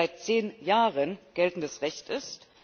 seit 10 Jahren, geltendes Recht ist?